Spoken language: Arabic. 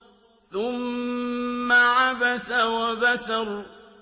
ثُمَّ عَبَسَ وَبَسَرَ